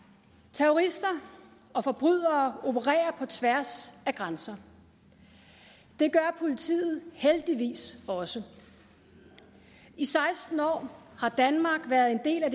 terrorister og forbrydere opererer på tværs af grænser det gør politiet heldigvis også i seksten år har danmark været en del af